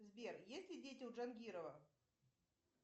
сбер есть ли дети у джангирова